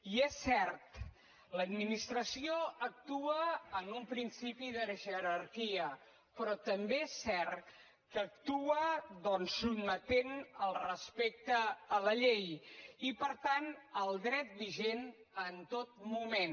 i és cert l’administració actua amb un principi de jerarquia però també és cert que actua doncs sotmetent el respecte a la llei i per tant al dret vigent en tot noment